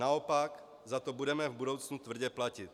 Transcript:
Naopak za to budeme v budoucnu tvrdě platit.